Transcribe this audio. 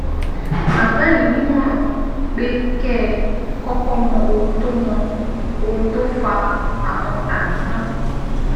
Màá gbà yín nímọ̀ràn pé kẹ́ ẹ kọ́kọ́ mọ ohun tó mọ ohun tó fa àwọn àmì náà